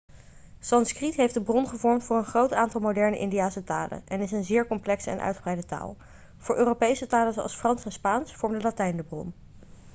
sanskriet heeft de bron gevormd voor een groot aantal moderne indiase talen en is een zeer complexe en uitgebreide taal voor europese talen zoals frans en spaans vormde latijn de bron